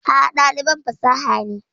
A'a, ɗaliban fasaha ne.